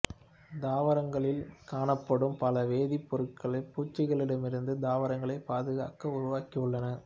தாவரங்களில் காணப்படும் பல வேதிப்பொருட்கள் பூச்சிகளிடமிருந்து தாவரங்களைப் பாதுகாக்க உருவாகியுள்ளன